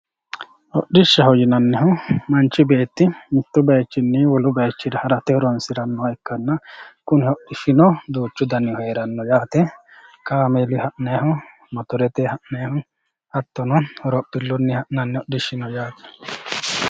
hodhishshaho yinannihu manchi beeti mittu baychinni wole baycho harate horoonsi'nanniha ikkanna kunino duuchu danihu heeranno yaate kaameluyi ha'nayihu motorete ha'nayihu hattono horophillunnini ha'nannihu